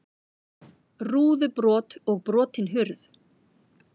Rúðubrot og brotin hurð